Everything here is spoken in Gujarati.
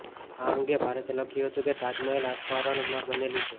આ અંગે ભારતે લખ્યું હતું કે તાજ મહેલ આસરપહાણમાંથી બનેલું છે